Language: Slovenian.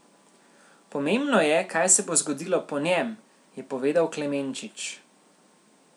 Pomembno je, kaj se bo zgodilo po njem, je povedal Klemenčič.